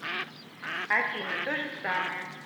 афина то же самое